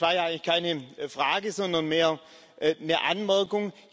Das war ja eigentlich keine Frage, sondern mehr eine Anmerkung.